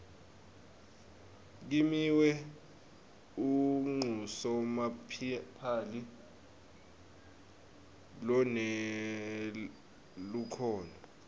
kimiwe unqusomapali lonelukhono